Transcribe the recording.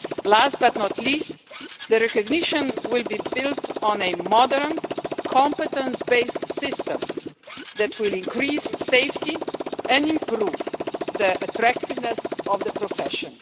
Last but not least, the recognition will be built on a modern, competence based system that will increase safety and improve the attractiveness of the profession.